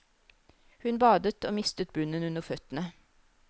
Hun badet og mistet bunnen under føttene.